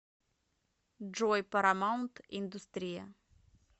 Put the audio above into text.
джой парамаунт индустрия